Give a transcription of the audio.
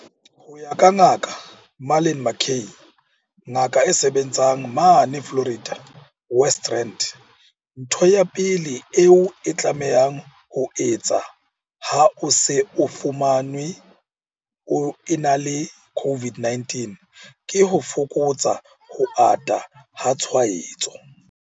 Ho ya ka Ngaka Marlin McCay, ngaka e sebetsang mane Florida, West Rand, ntho ya pele eo o tlamehang ho e etsa ha o se o fumanwe o ena le COVID-19 ke ho fokotsa ho ata ha tshwaetso.